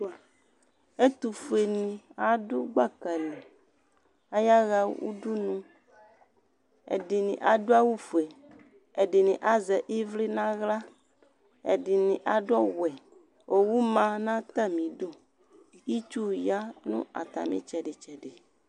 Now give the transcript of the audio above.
Ɛtʋfueni adʋ gbaka li , atani ayaha udunʋ, ɛdini adʋ awʋ fue, ɛdini azɛ ivli n'aɣla, ɛdini ad'ɔwɛ Owu ma n'atamidu, itsu ya n'atami tsɛdi tsɛdi